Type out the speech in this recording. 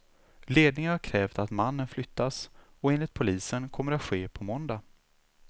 Ledningen har krävt att mannen flyttas, och enligt polisen kommer det att ske på måndag.